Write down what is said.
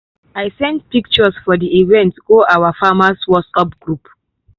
i send pictures for di event go our farmers whatsapp group.